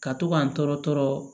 Ka to k'an tɔɔrɔ tɔɔrɔ